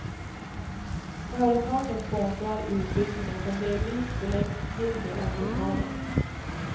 Företagen sponsrar utbildningen som delvis förläggs till deras lokaler.